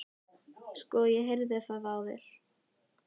Sko, ég heyri það á þér